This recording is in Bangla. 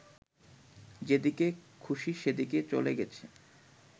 যেদিকে খুশি সেদিকে চলে গেছে